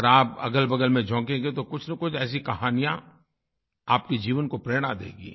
अगर आप अगलबगल में झाकेंगे तो कुछनकुछ ऐसी कहानियाँ आपके जीवन को प्रेरणा देंगी